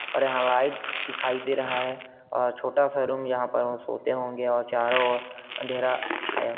--और यहाँ लाइट दिखाई दे रहा है और छोटा सा रूम यहाँ सोते होंगे और चारों और अंधेरा छाया--